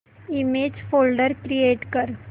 image folder create कर